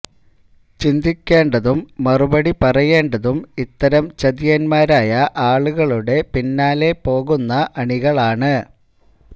ചിന്തിക്കേണ്ടതും മറുപടി പറയേണ്ടതും ഇത്തരം ചതിയന്മാരായ ആളുകളുടെ പിന്നാലെ പോകുന്ന അണികളാണ്